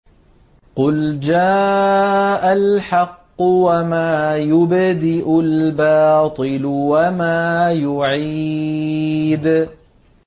قُلْ جَاءَ الْحَقُّ وَمَا يُبْدِئُ الْبَاطِلُ وَمَا يُعِيدُ